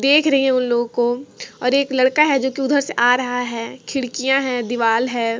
देख रही है उनलोगो को और एक लडका है जो की उधर से आ रहा है खिड़किया है दीवाल है।